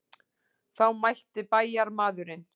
Þá mælti bæjarmaðurinn.